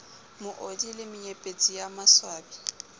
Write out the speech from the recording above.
moodi le menyepetsi ye maswabi